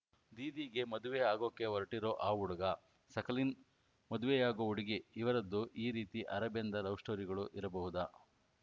ದೀದಿಗೆ ಮದುವೆ ಆಗೋಕೆ ಹೊರಟಿರೋ ಆ ಹುಡುಗ ಸಕಲಿನ್‌ ಮದುವೆಯಾಗೋ ಹುಡುಗಿ ಇವರದ್ದೂ ಈ ರೀತಿ ಅರೆಬೆಂದ ಲವ್‌ ಸ್ಟೋರಿಗಳು ಇರಬಹುದಾ